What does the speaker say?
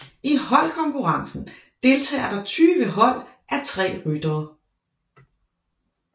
I holdkonkurrencen deltager der 20 hold á tre ryttere